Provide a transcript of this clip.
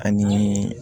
Ani